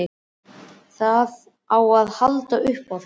Það á að halda upp á það.